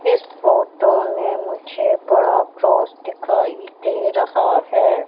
इस फोटो में मुझे बड़ा क्रॉस दिखाई दे रहा है।